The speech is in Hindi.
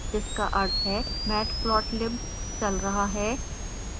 जिसका अर्थ है matplotlib चल रहा है